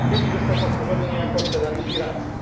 W Libii został powtórzony niejako scenariusz iracki.